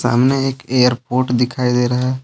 सामने एक एयरपोर्ट दिखाई दे रहा है।